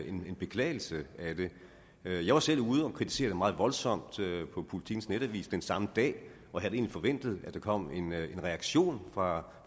en beklagelse af det jeg jeg var selv ude at kritisere det meget voldsomt på politikens netavis den samme dag og havde egentlig forventet at der kom en reaktion fra